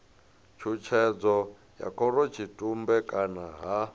tshutshedzo ya khorotshitumbe kana ha